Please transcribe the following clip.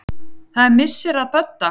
Það er missir að Bödda.